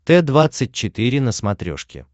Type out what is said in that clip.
т двадцать четыре на смотрешке